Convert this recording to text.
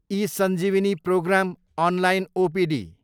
eSanjeevani programme, online OPD